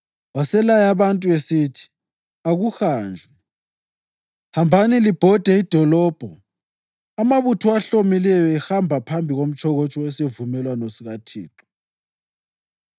Waselaya abantu esithi, “Akuhanjwe! Hambani libhode idolobho, amabutho ahlomileyo ehamba phambi komtshokotsho wesivumelwano sikaThixo.”